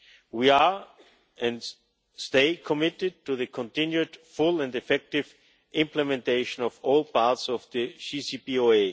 We are and stay committed to the continued full and effective implementation of all parts of the JCPOA.